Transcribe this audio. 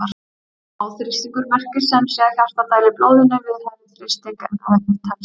Háþrýstingur merkir sem sé að hjartað dælir blóðinu við hærri þrýsting en eðlilegt telst.